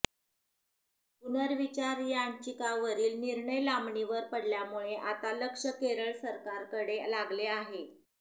पुनर्विचार याचिकांवरील निर्णय लांबणीवर पडल्यामुळे आता लक्ष केरळ सरकारकडे लागले आहे